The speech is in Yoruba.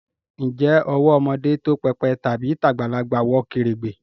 Ǹjẹ́ owó ọmọdé tó pépè tàbí tagbalagbà wọ kèrègbè?